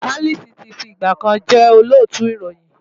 Alice ti fi ìgbà kan jẹ́ Olóòtú ìròyìn.